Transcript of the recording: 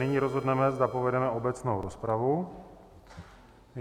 Nyní rozhodneme, zda povedeme obecnou rozpravu.